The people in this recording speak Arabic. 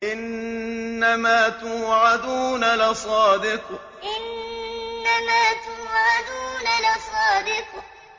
إِنَّمَا تُوعَدُونَ لَصَادِقٌ إِنَّمَا تُوعَدُونَ لَصَادِقٌ